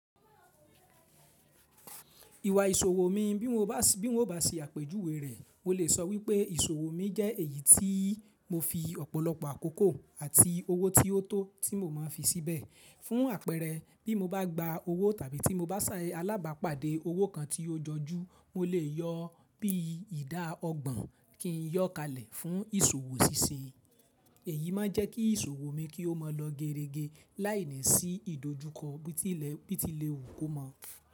Ìwà ìṣòwò mi bí mo bá sì àpèjúwe rẹ̀, mo lè sọ wípé ìṣòwò mi jẹ́ èyí tí mo fi ọ̀pọ̀lọpọ̀ àkókò àti owó tí ó tó tí mo máa ń fi síbẹ̀. Fún àpẹẹrẹ, bí mo bá gba owó tàbí tí mo bá ṣe alábàápàdé owó kan tí ó jọjú, mo lè yọ bí ìdá ọgbọ̀n kí n yọ́ kalẹ̀ fún ìṣòwò ṣíṣe. Èyí máa ń jẹ́ kí ìṣòwò mi kí ó máa lọ gerege láìní sí ìdojúkọ bí ti lẹ̀ wu ko mọ́